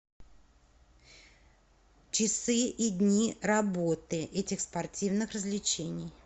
часы и дни работы этих спортивных развлечений